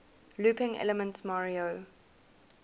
looping elements mario